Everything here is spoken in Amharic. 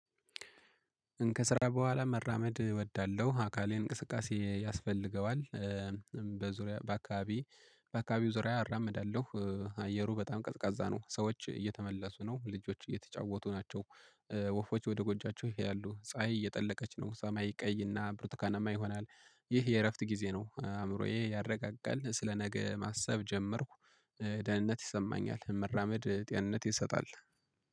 ከስራ በኋላ መራመድ እወዳለሁ አካሌ እንቅስቃሴ ያስፈልገዋል። በዙሪያ በአካባቢ በአካባቢው ዙሪያ አራምዳለሁ አየሩ በጣም ቀዝቃዛ ነው። ሰዎች እየተመለሱ ነው ልጆች እየተጫወቱ ናቸው። ወፎች ወደ ጎጃቸው ይሄ ያሉ ፀሀይ እየጠለቀች ነው። ሰማይ ቀይ እና ብሩትካናማ ይሆናል። ይህ የእረፍት ጊዜ ነው። አእምሮዬ ያረጋጋል ስለ ነገ ማሰብ ጀመርኩ። ደህንነት ይሰማኛል መራመድ ጤንነት ይሰጣል